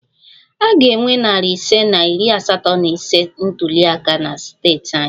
A ga-enwe narị ise na iri asatọ na ise ntuli aka na steeti anyị